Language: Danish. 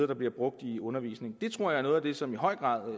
der bliver brugt i undervisningen det tror jeg er noget af det som i høj grad